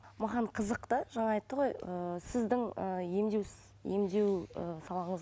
маған қызық та жаңа айтты ғой ыыы сіздің ы емдеу емдеу ы салаңыз